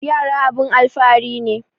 Yara abun alfahari ne